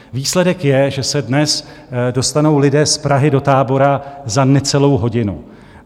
Výsledek je, že se dnes dostanou lidé z Prahy do Tábora za necelou hodinu.